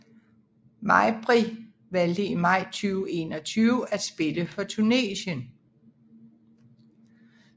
Mejbri valgte i maj 2021 at spille for Tunesien